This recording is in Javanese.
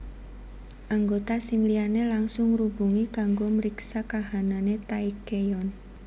Anggota sing liyane langsung ngrubungi kanggo mriksa kahanane Taecyeon